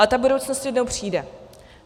Ale ta budoucnost jednou přijde.